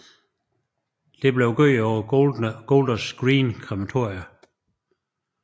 Dette blev gjort på Golders Green krematorium